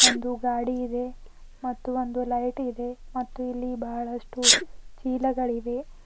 ಒಂದು ಗಾಡಿ ಇದೆ ಮತ್ತು ಒಂದು ಲೈಟ್ ಇದೆ ಮತ್ತು ಇಲ್ಲಿ ಬಹಳಷ್ಟು ಚೀಲಗಲಿವೆ.